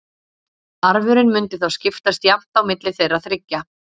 Arfurinn mundi þá skiptast jafnt á milli þeirra þriggja.